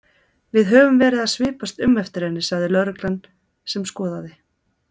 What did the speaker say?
Við höfum verið að svipast um eftir henni sagði lögreglan sem skoðaði